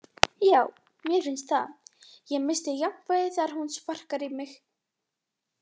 Já, mér finnst það, ég missti jafnvægið þegar hún sparkar í mig.